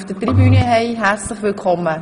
– Das ist der Fall.